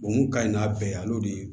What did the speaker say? O mun ka ɲi n'a bɛɛ yan'o de ye